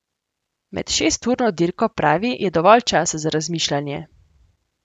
Med šesturno dirko, pravi, je dovolj časa za razmišljanje.